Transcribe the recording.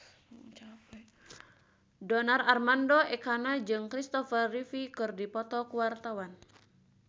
Donar Armando Ekana jeung Christopher Reeve keur dipoto ku wartawan